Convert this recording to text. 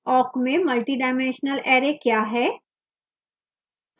awk में multidimensional array क्या है